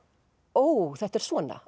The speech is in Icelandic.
ó þetta er svona